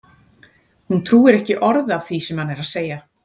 Hún trúir ekki orði af því sem hann er að segja!